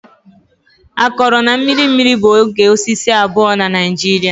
Akọrọ na mmiri mmiri bụ oge osisi abụọ na Naijiria.